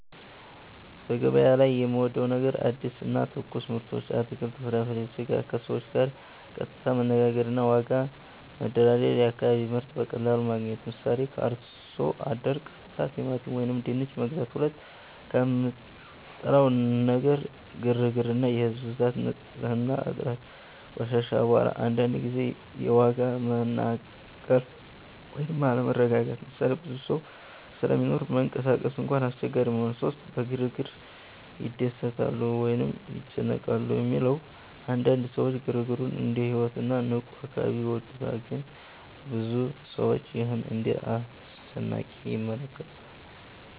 ) በገበያ ላይ የምወዴው ነገር አዲስ እና ትኩስ ምርቶች (አትክልት፣ ፍራፍሬ፣ ስጋ) ከሰዎች ጋር ቀጥታ መነጋገር እና ዋጋ መደራደር የአካባቢ ምርት በቀላሉ ማግኘት 👉 ምሳሌ፦ ከአርሶ አደር ቀጥታ ቲማቲም ወይም ድንች መግዛት 2) የምጠላው ነገር ግርግር እና ህዝብ ብዛት ንጽህና እጥረት (ቆሻሻ፣ አቧራ) አንዳንድ ጊዜ የዋጋ መናቀል ወይም አለመረጋጋት ምሳሌ፦ ብዙ ሰው ስለሚኖር መንቀሳቀስ እንኳን አስቸጋሪ መሆን 3) በግርግር ይደሰታሉ ወይስ ይጨነቃሉ ለሚለው? አንዳንድ ሰዎች ግርግሩን እንደ ሕይወት እና ንቁ አካባቢ ይወዱታል ግን ብዙ ሰዎች ይህን እንደ አስጨናቂ ይመለከታሉ (ረጅም ወረፋ፣ ጫና)